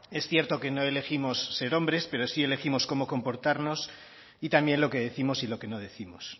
es cierto que no elegimos ser hombres pero sí elegimos cómo comportarnos y también lo que décimos y lo que no décimos